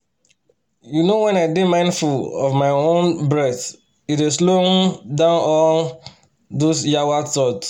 you know when i dey mindful of my um breath e dey slow um down all um those yawa thoughts